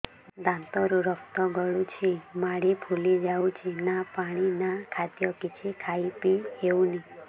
ଦାନ୍ତ ରୁ ରକ୍ତ ଗଳୁଛି ମାଢି ଫୁଲି ଯାଉଛି ନା ପାଣି ନା ଖାଦ୍ୟ କିଛି ଖାଇ ପିଇ ହେଉନି